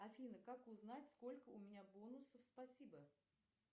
афина как узнать сколько у меня бонусов спасибо